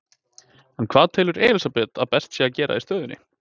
En hvað telur Elísabet að best sé að gera í stöðunni?